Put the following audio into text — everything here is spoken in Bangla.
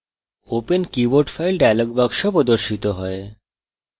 open keyboard file dialog box প্রদর্শিত হয়